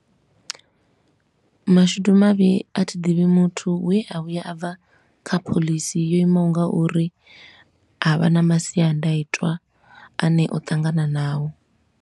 Mashudu mavhi a thi ḓivhi muthu we a vhuya a bva kha phoḽisi yo imaho nga uri a vha na masiandaitwa a ne o ṱangana nao.